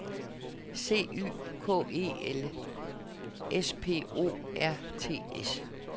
C Y K E L S P O R T S